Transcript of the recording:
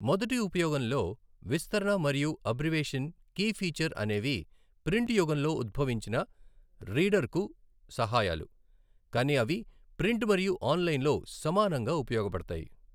మొదటి ఉపయోగంలో విస్తరణ మరియు అబ్రివేషన్ కీ ఫీచర్ అనేవి ప్రింట్ యుగంలో ఉద్భవించిన రీడర్కు సహాయాలు, కానీ అవి ప్రింట్ మరియు ఆన్లైన్లో సమానంగా ఉపయోగపడతాయి.